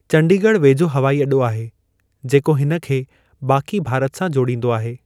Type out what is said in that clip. चंडीगढ़ वेझो हवाई अॾो आहे, जेको हिन खे बाक़ी भारत सां जोड़िंदो आहे।